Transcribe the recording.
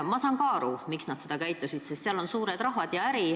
Ma saan ka aru, miks nad sel moel käitusid: seal on mängus suured rahad ja äri.